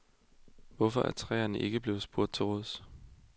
Hvorfor er trænerne ikke blevet spurgt til råds?